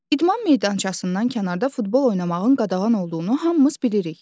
İdman meydançasından kənarda futbol oynamağın qadağan olduğunu hamımız bilirik.